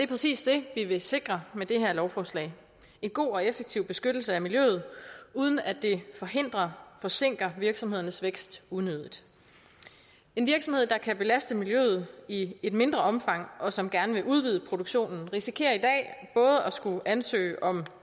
præcis det vi vil sikre med det her lovforslag en god og effektiv beskyttelse af miljøet uden at det forhindrer forsinker virksomhedernes vækst unødigt en virksomhed der kan belaste miljøet i et mindre omfang og som gerne vil udvide produktionen risikerer i dag både at skulle ansøge om